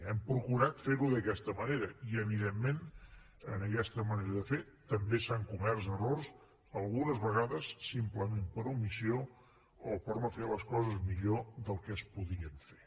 hem procurat fer ho d’aquesta manera i evidentment en aquesta manera de fer també s’han comès errors algunes vegades simplement per omissió o per no fer les coses millor del que es podien fer